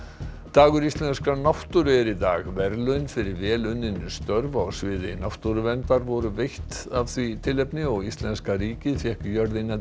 dagur íslenskrar náttúru er í dag verðlaun fyrir vel unnin störf á sviði náttúruverndar voru veitt af því tilefni og íslenska ríkið fékk jörðina